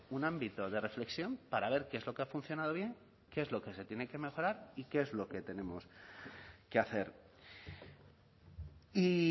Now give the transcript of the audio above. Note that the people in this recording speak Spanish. un ámbito de reflexión para ver qué es lo que ha funcionado bien qué es lo que se tiene que mejorar y qué es lo que tenemos que hacer y